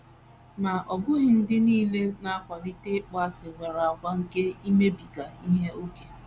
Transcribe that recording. Ma, ọ bụghị ndị nile na - akwalite ịkpọasị nwere àgwà nke imebiga ihe ókè.